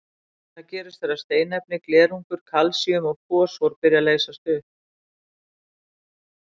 Það gerist þegar steinefni, glerungur, kalsíum og fosfór byrja að leysast upp.